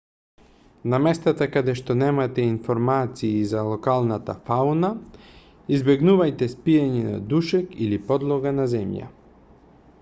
на местата каде што немате информации за локалната фауна избегнувајте спиење на душек или подлога на земја